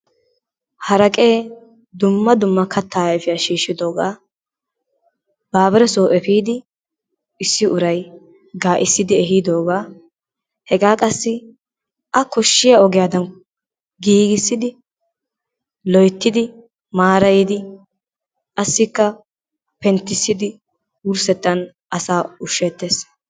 Haraqee dumma dumma kataa ayfiya shiishiodoogaa babireso efiidi issi uray gaacisidi ehiidoogaa hegaa qassi a koshiya ogiyadan giigissidi maarayidi qassikka penttissidi wurssettaan asaa usheetees.